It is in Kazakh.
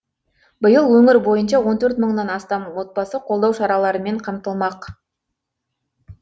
биыл өңір бойынша он төрт мыңнан астам отбасы қолдау шараларымен қамтылмақ